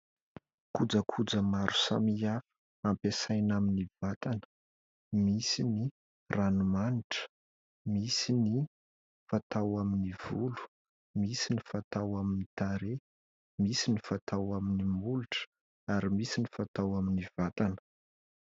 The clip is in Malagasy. Kojakoja maro samihafa ampiasaina amin'ny vatana : misy ny ranomanitra, misy ny fatao amin'ny volo, misy ny fatao amin'ny tarehy, misy ny fatao amin'ny molotra ary misy ny fatao amin'ny vatana.